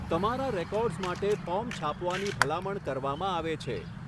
તમારા રેકોર્ડ્સ માટે ફોર્મ છાપવાની ભલામણ કરવામાં આવે છે.